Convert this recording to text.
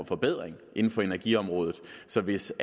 forbedring inden for energiområdet så hvis